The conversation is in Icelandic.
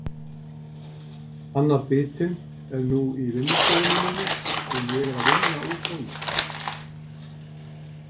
Annar bitinn er nú í vinnustofunni minni og ég er að vinna úr honum.